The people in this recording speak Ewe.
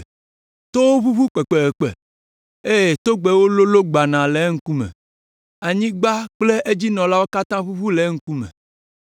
Towo ʋuʋu kpekpekpe, eye togbɛwo lolõ gbanaa le eŋkume, anyigba kple edzinɔlawo katã ʋuʋu le eŋkume.